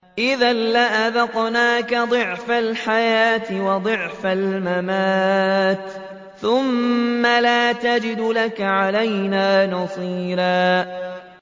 إِذًا لَّأَذَقْنَاكَ ضِعْفَ الْحَيَاةِ وَضِعْفَ الْمَمَاتِ ثُمَّ لَا تَجِدُ لَكَ عَلَيْنَا نَصِيرًا